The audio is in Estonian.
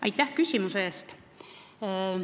Aitäh küsimuse eest!